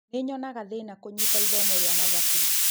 Nĩnyonaga thina kũnyita ithomo rĩa mathabu